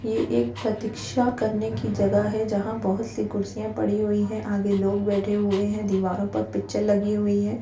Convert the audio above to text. ये एक प्रतीक्षा करने की जगह है जहाँ बहुत सी कुर्सियाँ पड़ी हुई हैं। आगे लोग बैठे हुए हैं। दीवारों पर पिक्चर लगी हुई हैं।